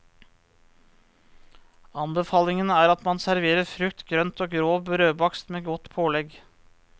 Anbefalingen er at man serverer frukt, grønt og grov brødbakst med godt pålegg.